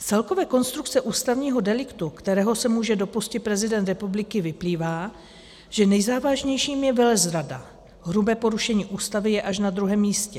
Z celkové konstrukce ústavního deliktu, kterého se může dopustit prezident republiky, vyplývá, že nejzávažnějším je velezrada, hrubé porušení Ústavy je až na druhém místě.